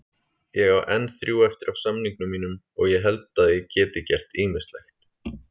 Ég á enn þrjú eftir af samningnum mínum og ég held að ég gert ýmislegt.